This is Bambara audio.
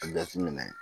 A jateminɛ